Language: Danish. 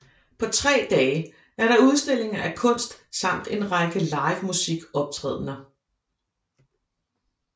På tre dage er der udstillinger af kunst samt en række livemusikoptrædender